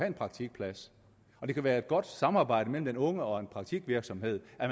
en praktikplads og det kan være et godt samarbejde mellem den unge og en praktikvirksomhed at